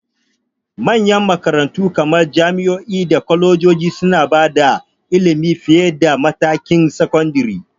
Manyan makarantu kamar jami'o'i da kwalejoji suna ba da ilimi fiye da matakin sakandare.